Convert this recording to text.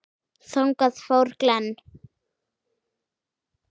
Þangað fór Glenn.